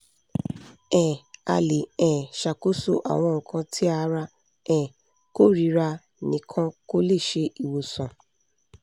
um a le um ṣakoso awọn nkan ti ara um korira nikan ko le ṣe iwosan